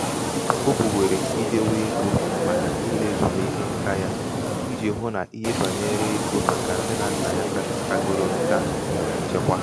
o bùwèrè idēwē egō màkà um ịlāèzùmike ṅkā yā ijī hụ um nà ihe bànyere ego màkà nne nà nnà ya kagoro ṅkā nwèrè nchekwa.